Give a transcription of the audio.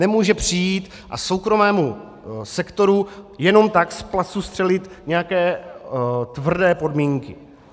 Nemůže přijít a soukromému sektoru jenom tak z placu střelit nějaké tvrdé podmínky.